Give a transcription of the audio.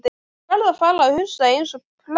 Ég verð að fara að hugsa eins og prestur.